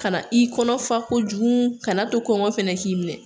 Ka na i kɔnɔ fa kojugu kan'a to kɔngɔ fana k'i minɛ